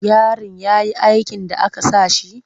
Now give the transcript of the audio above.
Yarin ya yi aikin da aka sa shi?